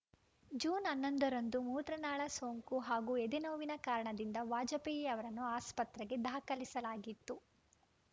June ಹನ್ನೊಂದರಂದು ಮೂತ್ರನಾಳ ಸೋಂಕು ಹಾಗೂ ಎದೆನೋವಿನ ಕಾರಣದಿಂದ ವಾಜಪೇಯಿ ಅವರನ್ನು ಆಸ್ಪತ್ರೆಗೆ ದಾಖಲಿಸಲಾಗಿತ್ತು